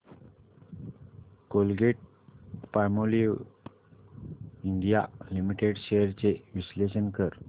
Colgate Palmolive India limited shares चे विश्लेषण कर